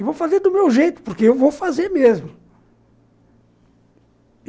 E vou fazer do meu jeito, porque eu vou fazer mesmo.